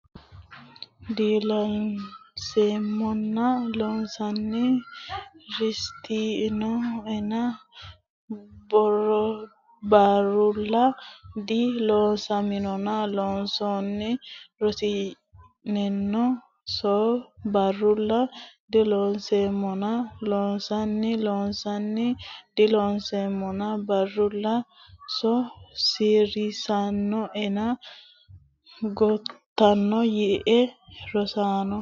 dilooseemmona Loossinanni risiisinoena so barrulla dilooseemmona Loossinanni risiisinoena so barrulla dilooseemmona Loossinanni Loossinanni dilooseemmona barrulla so risiisinoena gotona yiie Rosaanno !